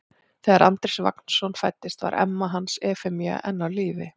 Þegar Andrés Vagnsson fæddist var amma hans Efemía enn á lífi.